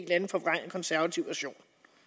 anden forvrænget konservativ version